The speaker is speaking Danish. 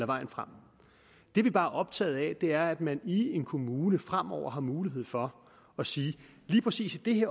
vejen frem det vi bare er optaget af er at man i en kommune fremover har mulighed for at sige at lige præcis i